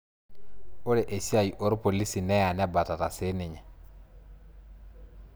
Ore esiai orpolisi neya nebatata sininye